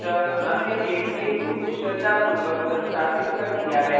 अतः हमने jdk को कुशलतापूर्वक संस्थापित कर दिया है